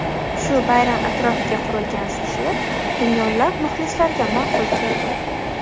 Shu bayram atrofiga qurilgan sujet millionlab muxlislarga ma’qul keldi.